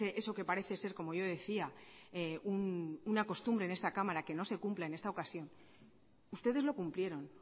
eso que parece ser como yo decía una costumbre en esta cámara que no se cumple en esta ocasión ustedes lo cumplieron